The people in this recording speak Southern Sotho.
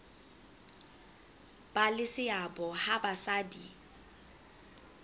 ba le seabo ha basadi